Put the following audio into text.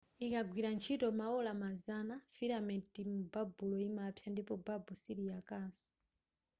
ikagwira ntchito maola mazana filamenti mubabulo imapsa ndipo babu siliyakaso